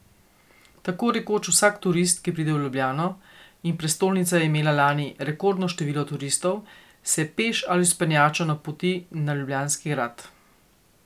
Tako rekoč vsak turist, ki pride v Ljubljano, in prestolnica je imela lani rekordno število turistov, se peš ali z vzpenjačo napoti na Ljubljanski grad.